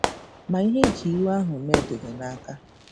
Ma ihe i ji iwe ahụ mee dị gị n'aka.